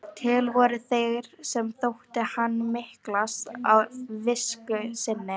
Til voru þeir sem þótti hann miklast af visku sinni.